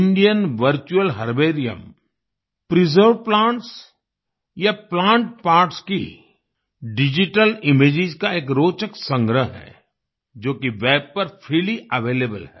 Indian virtual herbarium preserved plants या plant parts की digital images का एक रोचक संग्रह है जो कि वेब पर फ्रीली अवेलेबल है